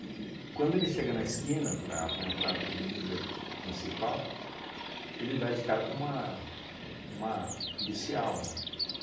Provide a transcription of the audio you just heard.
quando ele chega na esquina para para entrar na avenida principal, ele dá de cara com uma uma policial, né,